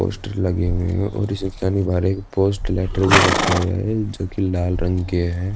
Poster लगे हुए हैं और पोस्ट लेटर भी रखा हुआ है जो कि लाल रंग के हैं।